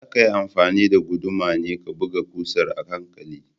Zakayi amfani da guduma ne ka buga ƙusar a hankali